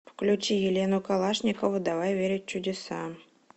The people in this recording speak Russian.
включи елену калашникову давай верить в чудеса